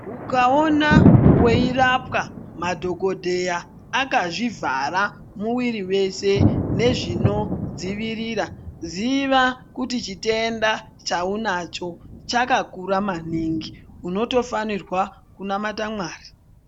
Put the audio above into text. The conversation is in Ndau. Ukaona veirapwa madhogodheya akazvivhara muviri veshe nezvinodzivirira ziva kuti chitenda chaunacho chakakura maningi, unotofanirwa kunamata Mwari.